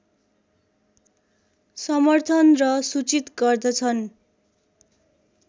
समर्थन र सुचित गर्दछन्